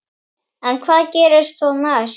En hvað gerist þá næst?